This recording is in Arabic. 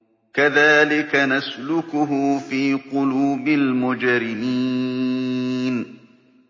كَذَٰلِكَ نَسْلُكُهُ فِي قُلُوبِ الْمُجْرِمِينَ